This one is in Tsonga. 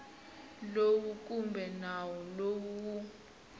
lowu kumbe nawu lowu wu